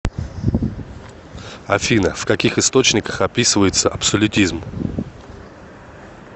афина в каких источниках описывается абсолютизм